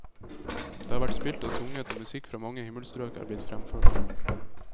Det har vært spilt og sunget, og musikk fra mange himmelstrøk er blitt fremført.